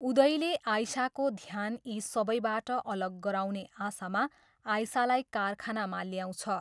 उदयले आइसाको ध्यान यी सबैबाट अलग गराउने आशामा आइसालाई कारखानामा ल्याउँछ।